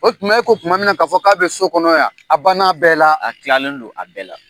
O tuma e ko tuma min na k'a fɔ k'a bi so kɔnɔ yan, a ban na bɛɛ la . A kilalen don a bɛɛ la.